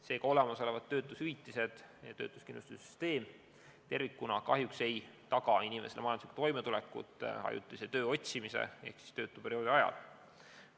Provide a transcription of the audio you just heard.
Seega olemasolevad töötushüvitised ja töötuskindlustussüsteem tervikuna kahjuks ei taga inimeste majanduslikku toimetulekut töö otsimise ehk siis töötuperioodi ajal.